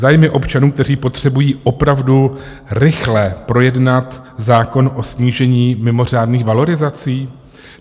Zájmy občanů, kteří potřebují opravdu rychle projednat zákon o snížení mimořádných valorizací?